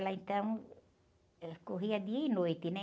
então, ela corria dia e noite, né?